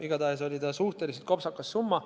Igatahes oli see suhteliselt kopsakas summa.